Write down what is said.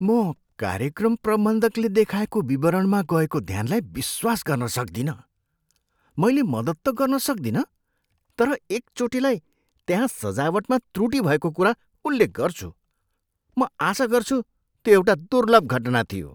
म कार्यक्रम प्रबन्धकले देखाएको विवरणमा गएको ध्यानलाई विश्वास गर्न सक्दिनँ, मैले मद्दत त गर्न सक्दिनँ तर एकचोटिलाई त्यहाँ सजावटमा त्रुटि भएको कुरा उल्लेख गर्छु। म आशा गर्छु त्यो एउटा दुर्लभ घटना थियो।